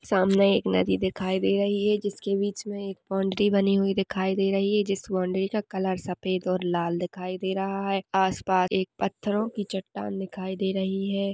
सामने एक नदी दिखाई दे रही है जिसके बीच मे एक बॉउन्ड्री बनी हुई दिखाई दे रही है जिस बॉउन्ड्री का कलर सफेद और लाल दिखाई दे रहा है आस पास एक पत्थरों की चट्टान दिखाई दे रही है।